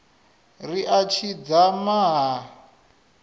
ri a tshi dzama ha